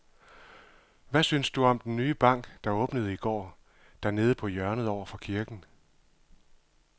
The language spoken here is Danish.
Hvad synes du om den nye bank, der åbnede i går dernede på hjørnet over for kirken?